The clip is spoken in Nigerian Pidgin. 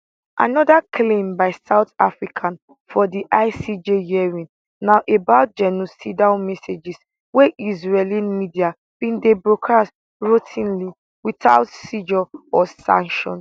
anoda claim by south africa for di icj hearing na about genocidal messages wey israeli media bin dey broadcast routinely witout censure or sanction